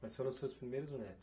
Mas foram os seus primeiros neto?